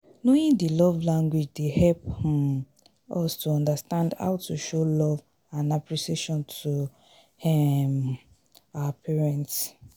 knowing di love language dey help um us to understand how to show love and appreciation to um our partners.